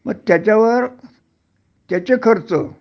मग त्याच्यावर त्याचे खर्च